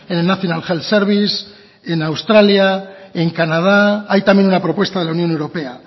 en el national health service en australia en canadá hay también una propuesta de la unión europea